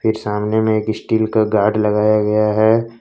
सामने में एक स्टील का गार्ड लगाया गया है।